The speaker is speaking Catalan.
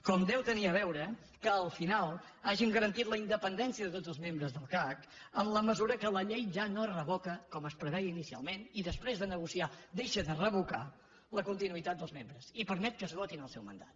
com hi deu tenir a veure que al final hàgim garantit la independència de tots els membres del cac en la mesura que la llei ja no es revoca com es preveia inicialment i després de negociar deixa de revocar la continuïtat dels membres i permet que esgotin el seu mandat